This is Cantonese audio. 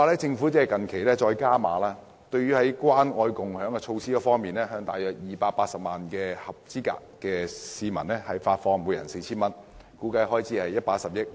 政府最近更決定加碼，在關愛共享措施方面，向約280萬名合資格人士每人發放 4,000 元，估計開支為110億元。